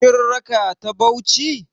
Kin raka ta Bauchi?